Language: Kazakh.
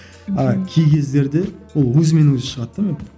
а кей кездерде ол өзімен өзі шығады да